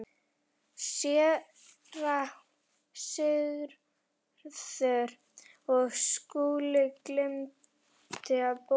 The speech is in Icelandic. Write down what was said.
SÉRA SIGURÐUR: Og Skúli gleymdi að bóka.